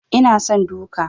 Ina son duka.